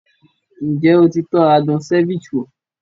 Ǹjẹ́ o ti tọ́ adùn ceviche wo?